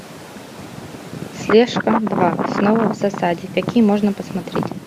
слежка два снова в засаде какие можно посмотреть